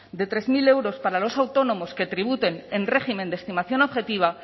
de tres mil euros para los autónomos que tributen en régimen de estimación objetiva